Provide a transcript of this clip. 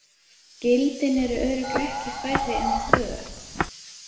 Gildin eru örugglega ekki færri en tvö.